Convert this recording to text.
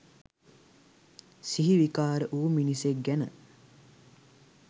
සිහි විකාර වූ මිනිසෙක් ගැන.